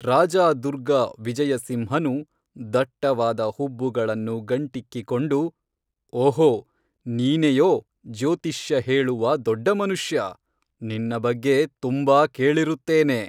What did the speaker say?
ರಾಜಾದುರ್ಗ ವಿಜಯಸಿಂಹನು ದಟ್ಟವಾದ ಹುಬ್ಬುಗಳನ್ನು ಗಂಟಿಕ್ಕಿ ಕೊಂಡು ಓಹೋ ನೀನೇಯೋ ಜ್ಯೋತಿಷ್ಯ ಹೇಳುವ ದೊಡ್ಡಮನುಷ್ಯ ನಿನ್ನ ಬಗ್ಗೆ ತುಂಬಾ ಕೇಳಿರುತ್ತೇನೆ